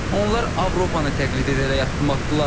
Onlar Avropanı təqlid edərək addım atdılar.